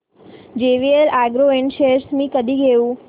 JVL Agro Ind shares मी कधी घेऊ